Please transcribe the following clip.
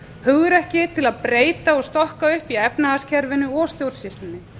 hugrekki til að breyta og stokka upp í efnahagskerfinu og stjórnsýslunni